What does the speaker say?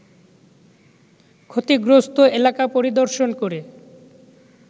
ক্ষতিগ্রস্ত এলাকা পরিদর্শন করে